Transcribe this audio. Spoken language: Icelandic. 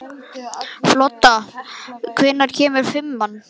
Folda, hvenær kemur fimman?